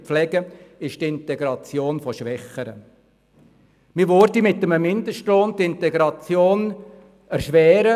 Mit einem Mindestlohn würde man die Integration erschweren.